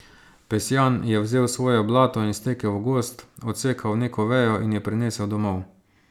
Pesjan je vzel svojo balto in stekel v gozd, odsekal neko vejo in jo prinesel domov.